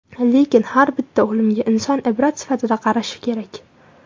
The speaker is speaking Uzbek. Lekin har bitta o‘limga inson ibrat sifatida qarashi kerak.